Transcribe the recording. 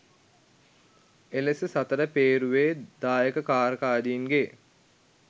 එලෙස සතර පේරුවේ දායකකාරකාදින්ගේ